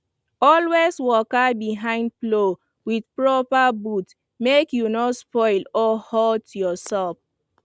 always waka behind plow with proper boot make you no slip or hurt yourself